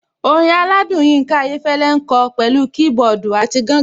Orin aládùn Yinka Ayéfẹ́lẹ́ ń kọ pẹ̀lú kiboodu àti gangan.